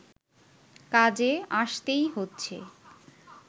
কাজে আসতেই হচ্ছে